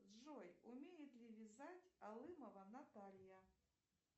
джой умеет ли вязать алымова наталья